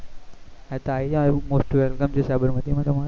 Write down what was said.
હા તે આવી જવાનું most welcome છે સાબરમતી માં તમારું